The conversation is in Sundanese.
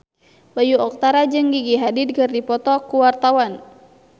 Bayu Octara jeung Gigi Hadid keur dipoto ku wartawan